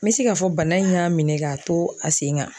N bɛ se k'a fɔ bana in y'a minɛ k'a to a sen kan